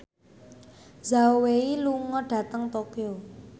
Zhao Wei lunga dhateng Tokyo